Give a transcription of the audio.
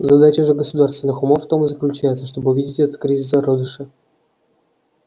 задача же государственных умов в том и заключается чтобы увидеть этот кризис в зародыше